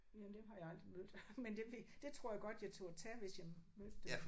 Ja dem har jeg aldrig mødt. Men dem vi det tror jeg godt jeg turde tage hvis jeg mødte dem